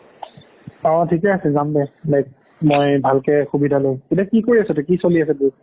অ' ঠিকেই আছে যাম দে like মই ভালকে সুবিধা লৈ এতিয়া কি কৰি আছো তই কি চলি আছে তোৰ